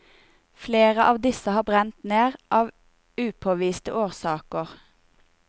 Flere av disse har brent ned, av upåviste årsaker.